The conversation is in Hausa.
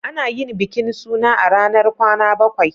Ana yin bikin suna a ranar kwana bakwai.